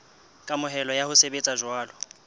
kamohelo ya ho sebetsa jwalo